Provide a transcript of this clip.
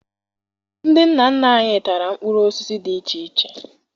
Ndị nna nna anyị tara mkpụrụ osisi dị iche iche